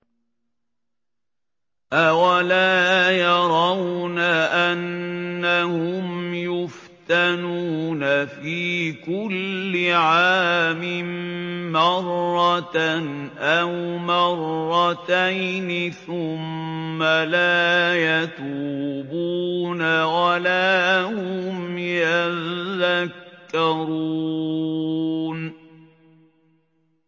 أَوَلَا يَرَوْنَ أَنَّهُمْ يُفْتَنُونَ فِي كُلِّ عَامٍ مَّرَّةً أَوْ مَرَّتَيْنِ ثُمَّ لَا يَتُوبُونَ وَلَا هُمْ يَذَّكَّرُونَ